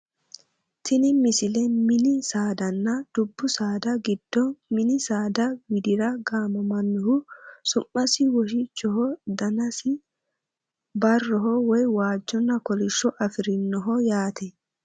tini misile mini saadanna dubbu saada giddo mini saada widira gamamannoha su'masi woshichoho danasino barroho woye waajjonna kolishsho afirinoho yaate